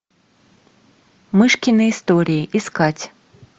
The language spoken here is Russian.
мышкины истории искать